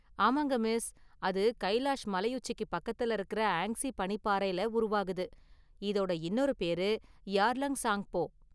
ஆமாங்க மிஸ், அது கைலாஷ் மலையுச்சிக்கு பக்கத்துல இருக்குற ஆங்ஸீ பனிப்பாறையில உருவாகுது, இதோட இன்னொரு பேரு பெயர், 'யார்லங் ஸாங்போ'.